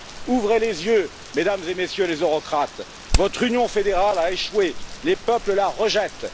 Ouvrez les yeux, Mesdames et Messieurs les eurocrates, votre union fédérale a échoué, les peuples la rejettent.